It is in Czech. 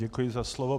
Děkuji za slovo.